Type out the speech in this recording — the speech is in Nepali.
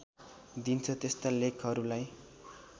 दिन्छ त्यस्ता लेखहरूलाई